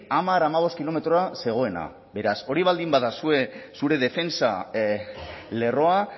hamar hamabost kilometrora zegoena beraz hori baldin ba zure defentsa lerroa